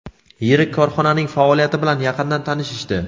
yirik korxonaning faoliyati bilan yaqindan tanishishdi.